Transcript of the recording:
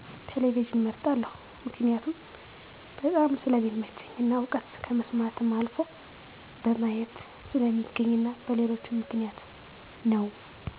ቴሌቪዥንን እመርጣለሁ። መክኒያቱም በጣም ስለሚመቸኝ እና እዉቀት ከመስማትም አልፎ በማየት ስለሚገኝ እና በሌሎችም ምክንያት ነው